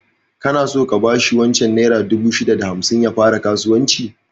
Kana so ka bashi wancan naira dubu ɗari shida da hamsin ya fara kasuwanci?